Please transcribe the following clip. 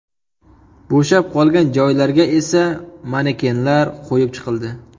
Bo‘shab qolgan joylarga esa manekenlar qo‘yib chiqildi.